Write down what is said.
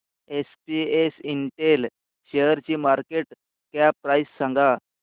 SPS Intel शेअरची market cap price सांगा